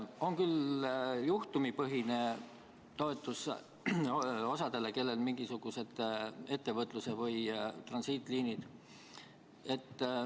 On küll juhtumipõhine toetus osadele, kellel on mingisugused ettevõtluse või transiitliinid.